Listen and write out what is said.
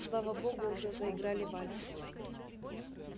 слава богу уже заиграли вальс